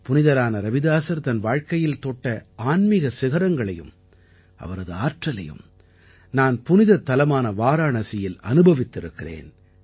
புனிதரான ரவிதாஸர் தன் வாழ்க்கையில் தொட்ட ஆன்மீக சிகரங்களையும் அவரது ஆற்றலையும் நான் புனிதத் தலமான வாராணசியில் அனுபவித்திருக்கிறேன்